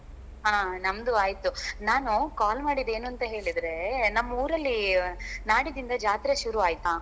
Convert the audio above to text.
ಹಾ ನಮ್ದು ಆಯ್ತು ನಾನು call ಮಾಡಿದ್ದು ಏನು ಅಂತ ಹೇಳಿದ್ರೆ ನಮ್ಮ್ ಊರಲ್ಲಿ ನಾಡಿದ್ದಿಂದ ಜಾತ್ರೆ ಶುರು ಆಯ್ತಾ